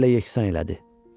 Yerlə yeksan elədi.